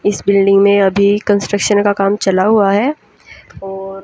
इस बिल्डिंग में अभी कंस्ट्रक्शन का काम चला हुआ है और--